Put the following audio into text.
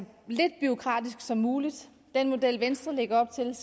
lidt bureaukratisk som muligt den model venstre lægger op til er